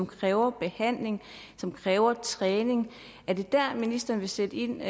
kræver behandling kræver træning er det der ministeren vil sætte ind og